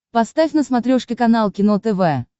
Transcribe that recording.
поставь на смотрешке канал кино тв